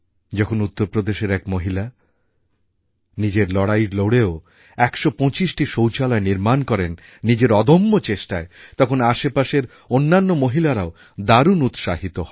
যখন উত্তর প্রদেশের এক মহিলা নিজের লড়াই লড়েও একশো পঁচিশটি শৌচালয় নির্মাণ করেন নিজের অদম্য চেষ্টায় তখন আশপাশের অন্যান্য মহিলারাও দারুণ উৎসাহিত হন